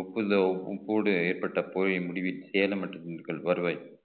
op~ ஏற்பட்ட போரின் முடிவில் சேலம் மற்றும் திண்டுக்கல் வருவாய்